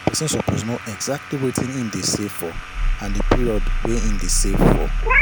Person suppose know exactly wetin him de save for and the period wey him de save for